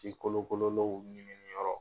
Ji kolonkolonlew minɛni yɔrɔ